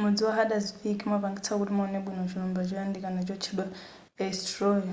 mudzi wa haldarsvík umapangitsa kuti muwone bwino chilumba choyandikana chotchedwa eysturoy